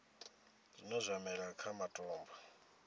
zwine zwa mela kha matombo